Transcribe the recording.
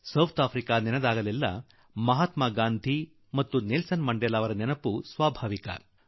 ದಕ್ಷಿಣ ಆಫ್ರಿಕಾವನ್ನು ನೆನಪು ಮಾಡಿಕೊಂಡಾಗ ಮಹಾತ್ಮಾ ಗಾಂಧಿ ಮತ್ತು ನೆಲ್ಸನ್ ಮಂಡೇಲಾರ ನೆನಪು ಬರುವುದು ಬಹಳ ಸ್ವಾಭಾವಿಕ